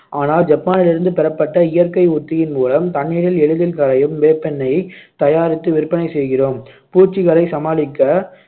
ஆனால் ஜப்பானிலிருந்து பெறப்பட்ட இயற்கை உத்தியின் மூலம் தண்ணீரில் எளிதில் கரையும் வேப்பெண்ணெய் தயாரித்து விற்பனை செய்கிறோம் பூச்சிகளை சமாளிக்க